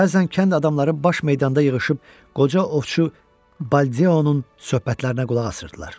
Bəzən kənd adamları baş meydanda yığışıb qoca ovçu Baldeonun söhbətlərinə qulaq asırdılar.